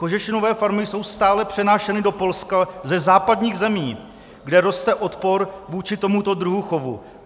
Kožešinové farmy jsou stále přenášeny do Polska ze západních zemí, kde roste odpor vůči tomuto druhu chovu.